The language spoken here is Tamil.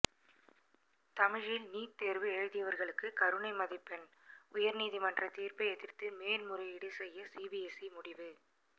தமிழில் நீட் தேர்வு எழுதியவர்களுக்கு கருணை மதிப்பெண் உயர் நீதிமன்ற தீர்ப்பை எதிர்த்து மேல்முறையீடு செய்ய சிபிஎஸ்இ முடிவு